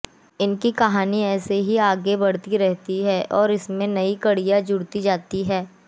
इनकी कहानी ऐसे ही आगे बढ़ती रहती है और इसमें नई कड़ियां जुड़ती जाती है